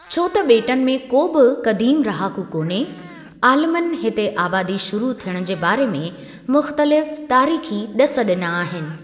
छो त बे॒टुनि में को बि क़दीमु रहाकू कोन्हे, आलिमनि हिते आबादी शुरु थियणु जे बारे में मुख़्तलिफ़ तारीख़ी ड॒सु डि॒ना आहिनि।